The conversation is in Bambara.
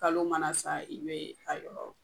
Kalo mana san i bɛ a yɔrɔ